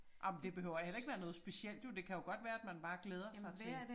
Ej men det behøver heller ikke være noget specielt jo det kan jo godt være at man bare glæder sig til